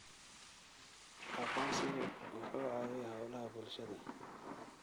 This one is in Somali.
Aqoonsigu wuxuu caawiyaa hawlaha bulshada.